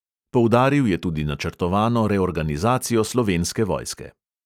Poudaril je tudi načrtovano reorganizacijo slovenske vojske.